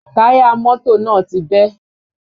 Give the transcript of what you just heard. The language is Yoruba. Táyà mọ́tò náà ti bẹ́